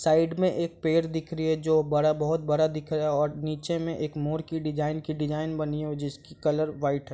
side मैं एक पेड़ दिख रही है जो बड़ा बहुत बड़ा दिख रहा है और नीचे मैं एक मोरे की डिज़ाइन की डिज़ाइन बनी हुई है जिसकी कलर वाइट है |